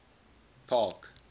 park